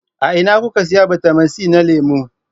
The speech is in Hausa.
A ina kuka sayi bitamin c na lemu?